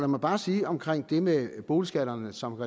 mig bare sige omkring det med boligskatterne som